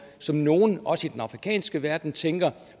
som nogle også i den afrikanske verden tænker